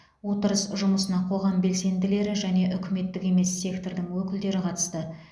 отырыс жұмысына қоғам белсенділері және үкіметтік емес сектордың өкілдері қатысты